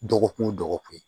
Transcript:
Dɔgɔkun o dɔgɔkun